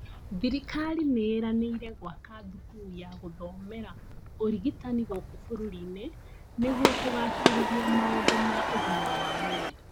Thirikali nĩĩranĩire gwaka thukuru ya gũthomera ũrigitani gũkũ bũrũrinĩ nĩguo kugacĩrithia maũndũ ma ũgima wa mwĩrĩ